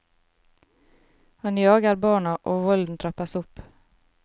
Han jager barna og volden trappes opp.